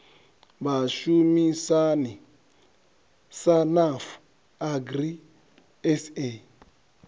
vhashumisani sa nafu agri sa